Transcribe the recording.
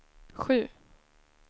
sju